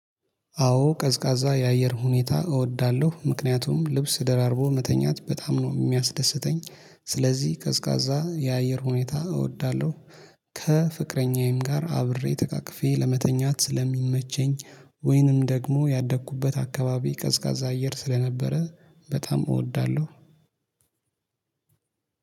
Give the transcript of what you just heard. አዎ ቀዝቃዛ የአየር ሁኔታ እወዳለሁ ምክንያቱም ልብስ ደራርቦ መተኛት በጣም ነው የሚያስደስተኝ ስለዚህ ቀዝቃዛ የአየር ሁኔታ እወዳለሁ ከፍቅረኛዬም ጋር አብሬ ተቃቅፌ ለመተኛት ስለሚመቸኝ ወይንም ደግሞ ያደግኩበት አካባቢ ቀዝቃዛ አየር ስለነበረ በጣም እወዳለሁ።